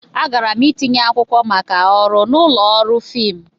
Agara m itinye akwụkwọ maka ọrụ n'ụlọ ọrụ fiimu.